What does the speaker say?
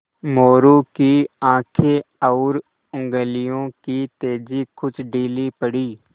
मोरू की आँखें और उंगलियों की तेज़ी कुछ ढीली पड़ी